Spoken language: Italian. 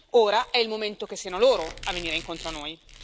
Ora è il momento che siano loro a venire incontro a noi.